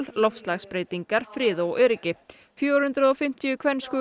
loftslagsbreytingar frið og öryggi fjögur hundruð og fimmtíu